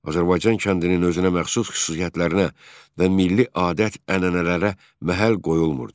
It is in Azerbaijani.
Azərbaycan kəndinin özünə məxsus xüsusiyyətlərinə və milli adət-ənənələrə məhəl qoyulmurdu.